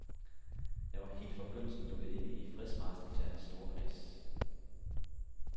Jeg var helt fra begyndelsen lukket inde i fredsmarchdeltagernes store kreds.